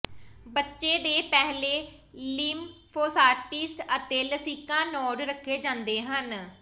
ਬੱਚੇ ਦੇ ਪਹਿਲੇ ਲਿਮਫੋਸਾਈਟਸ ਅਤੇ ਲਸਿਕਾ ਨੋਡ ਰੱਖੇ ਜਾਂਦੇ ਹਨ